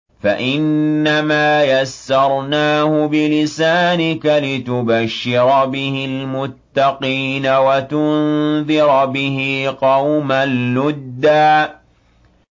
فَإِنَّمَا يَسَّرْنَاهُ بِلِسَانِكَ لِتُبَشِّرَ بِهِ الْمُتَّقِينَ وَتُنذِرَ بِهِ قَوْمًا لُّدًّا